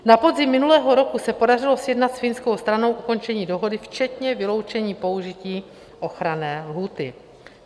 Na podzim minulého roku se podařilo sjednat s finskou stranou ukončení dohody včetně vyloučení použití ochranné lhůty.